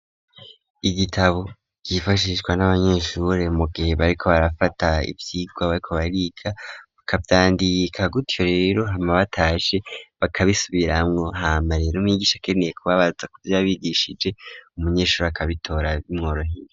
Igitabo cifashishwa n'abanyeshure mu gihe bariko barafata ivyigwa ariko bariga bakavyandika gutyo rero hama bataje bakabisubiramwo hama rero mwigisha keneye kubabaza kuvya bigishije umunyeshure akabitora b'imworoheye.